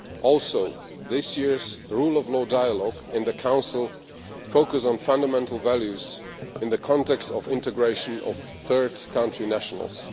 Also, this year's rule of law dialogue in the Council focuses on fundamental values in the context of the integration of third country nationals.